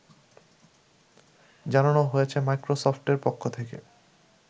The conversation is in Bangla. জানানো হয়েছে মাইক্রোসফটের পক্ষ থেকে